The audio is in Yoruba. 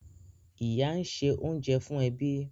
Ìyá ń ṣe oúnjẹ fún ẹbí.